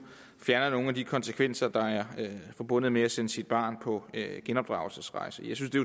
fjerner nogle af de konsekvenser der er forbundet med at sende sit barn på genopdragelsesrejse jeg synes det